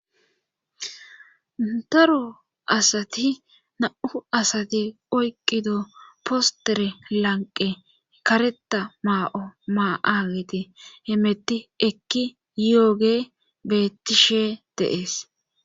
Daro asati na'u asati oyqqido postere lanqe kareta maa'o maa'ageti hemetti ekki yooge beettishe deees.